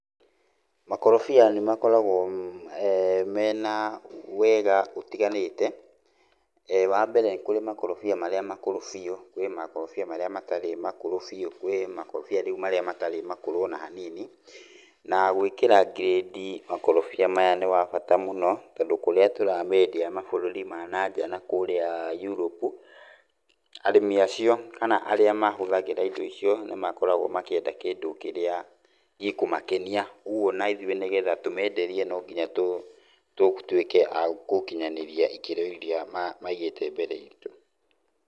Makorobia nĩ makoragwo mena wega ũtiganĩte. Wa mbere, kũrĩ makorobia marĩa makũrũ biũ, kwĩ makorobia marĩa matarĩ makũrũ biũ, kwĩ makorobia rĩu marĩa matarĩ makũrũ o na hanini, na gwĩkĩra grade makorobia maya nĩ wa bata mũno tondũ kũrĩa tũrameendia mabũrũri ma nanja nakurĩa Europe, arĩmi acio kana arĩa mahũthagĩra indo icio nĩ makoragwo makĩenda kĩndũ kĩrĩa gĩkũmakenia. Kwoguo o na ithuĩ nĩgetha tũmeenderie no nginya tũtuĩke a kũkinyanĩria ikĩro iria maigĩte mbere itũ.